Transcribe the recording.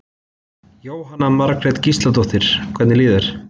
Jóhanna Margrét Gísladóttir: Hvernig líður þér?